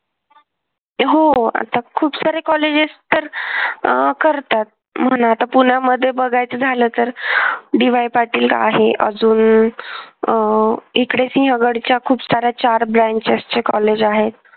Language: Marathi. हो आता खूप सारे कॉलेजेस तर अह करतात म्हणा आता पुण्यामध्ये बघायचं झालं तर DY पाटील आहे अजून अह इकडे सिंहगडच्या खूप सार्‍या चार branches चे कॉलेज आहेत.